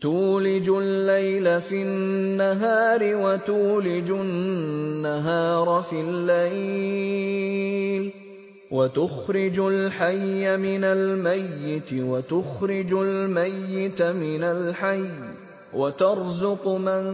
تُولِجُ اللَّيْلَ فِي النَّهَارِ وَتُولِجُ النَّهَارَ فِي اللَّيْلِ ۖ وَتُخْرِجُ الْحَيَّ مِنَ الْمَيِّتِ وَتُخْرِجُ الْمَيِّتَ مِنَ الْحَيِّ ۖ وَتَرْزُقُ مَن